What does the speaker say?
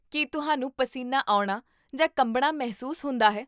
ਕੀ ਤੁਹਾਨੂੰ ਪਸੀਨਾ ਆਉਣਾ ਜਾਂ ਕੰਬਣਾ ਮਹਿਸੂਸ ਹੁੰਦਾ ਹੈ?